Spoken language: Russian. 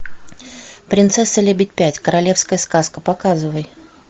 принцесса лебедь пять королевская сказка показывай